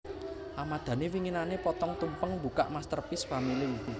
Ahmad Dhani winginane potong tumpeng mbukak Masterpiece Family